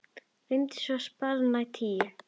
Renndi svo spaða á tíuna.